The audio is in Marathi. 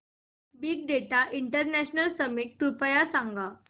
बिग डेटा इंटरनॅशनल समिट कृपया सांगा